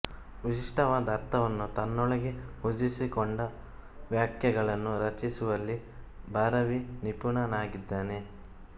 ವಿಶಿಷ್ಟವಾದ ಅರ್ಥವನ್ನು ತನ್ನೊಳಗೆ ಹುದುಗಿಸಿಕೊಂಡ ವಾಕ್ಯಗಳನ್ನು ರಚಿಸುವಲ್ಲಿ ಭಾರವಿ ನಿಪುಣನಾಗಿದ್ದಾನೆ